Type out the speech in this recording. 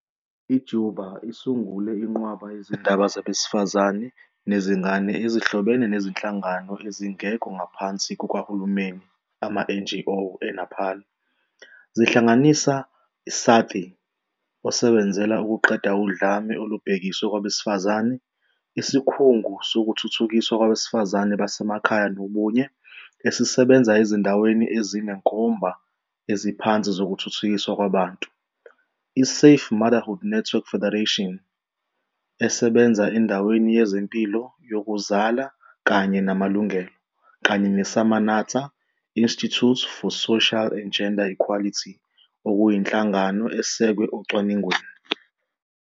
I-Deuba isungule inqwaba yezindaba zabesifazane nezingane ezihlobene nezinhlangano ezingekho ngaphansi kukahulumeni, ama-NGO, e-Nepal, ezihlanganisa- Saathi osebenzela ukuqeda udlame olubhekiswe kwabesifazane, Isikhungo Sokuthuthukiswa Kwabesifazane Basemakhaya Nobunye esisebenza ezindaweni ezinezinkomba eziphansi zokuthuthukiswa kwabantu, I-Safe Motherhood Network Federation esebenza endaweni yezempilo yokuzala kanye namalungelo, kanye ne-Samanata - Institute for Social and Gender Equality okuyinhlangano esekwe ocwaningweni